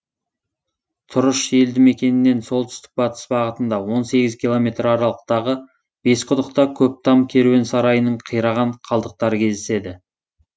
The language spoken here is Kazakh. тұрыш елді мекенінен солтүстік батыс бағытында он сегіз километр аралықтағы бесқұдықта көптам керуен сарайының қираған қалдықтары кездеседі